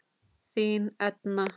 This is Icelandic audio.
Þín Edna.